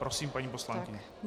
Prosím, paní poslankyně.